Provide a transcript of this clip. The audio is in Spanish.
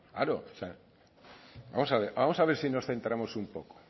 claro vamos a ver si nos centramos un poco